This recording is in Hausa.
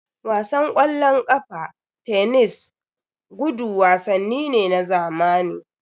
Wasan ƙwallon ƙafa, tenis, gudu wasanni ne na zamani.